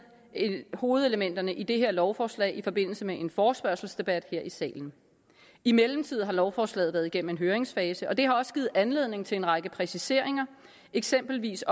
vi hovedelementerne i det her lovforslag i forbindelse med en forespørgselsdebat her i salen i mellemtiden har lovforslaget været gennem en høringsfase og det har også givet anledning til en række præciseringer eksempelvis